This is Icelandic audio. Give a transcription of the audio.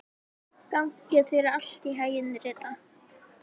Gangi þér allt í haginn, Rita.